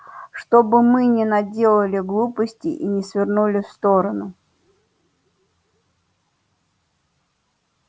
чтобы мы не наделали глупостей и не свернули в сторону